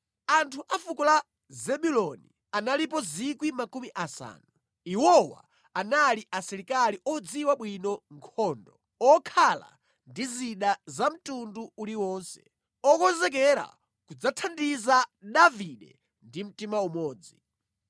Anthu a fuko la Zebuloni, analipo 5,000. Iwowa anali asilikali odziwa bwino nkhondo, okhala ndi zida za mtundu uliwonse, okonzekera kudzathandiza Davide ndi mtima umodzi.